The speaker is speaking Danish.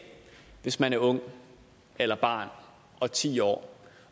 hvis man er ung eller barn og ti år